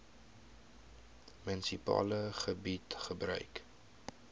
munisipale gebied gebruik